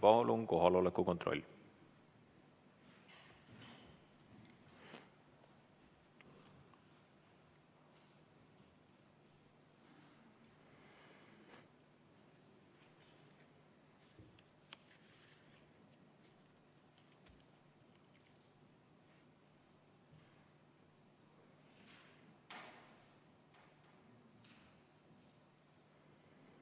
Palun kohaloleku kontroll!